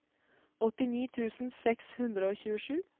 åttini tusen seks hundre og tjuesju